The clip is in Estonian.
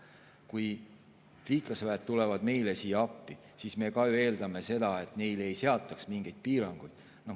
Kui liitlasväed tulevad meile siia appi, siis me ka ju eeldame, et neile ei seataks mingeid piiranguid.